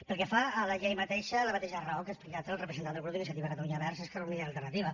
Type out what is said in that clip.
pel que fa a la llei mateixa la mateixa raó que ha explicat el representant del grup d’iniciativa per catalunya verds esquerra unida i alternativa